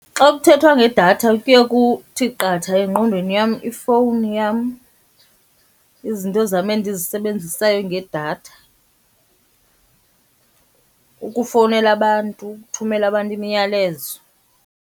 Xa kuthethwa ngedatha kuye kuthi qatha engqondweni yam ifowuni yam, izinto zam endizisebenzisayo ngedatha, ukufowunela abantu, ukuthumela abantu imiyalezo.